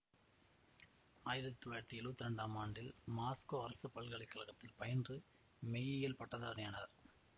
ஆயிரத்தி தொள்ளாயிரத்தி எழுவத்தி இரண்டாம் ஆண்டில் மாஸ்கோ அரசு பல்கலை கழகத்தில் பயின்று மெய்யியலில் பட்டதாரியானார்